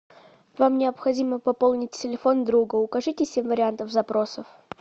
вам необходимо пополнить телефон друга укажите семь вариантов запросов